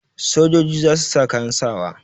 Sojoji za su sa kayan sawa.